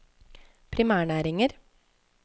primærnæringer